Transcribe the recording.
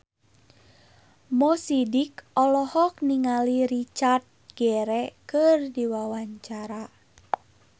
Mo Sidik olohok ningali Richard Gere keur diwawancara